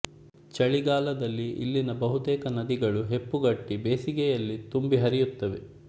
ಚಳಿಗಾಲದಲ್ಲಿ ಇಲ್ಲಿನ ಬಹುತೇಕ ನದಿಗಳು ಹೆಪ್ಪುಗಟ್ಟಿ ಬೇಸಗೆಯಲ್ಲಿ ತುಂಬಿ ಹರಿಯುತ್ತವೆ